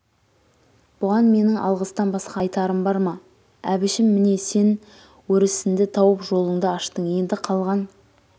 бұған менің алғыстан басқа айтарым бар ма әбішім міне сен өрісінді тауып жолынды аштың енді қалған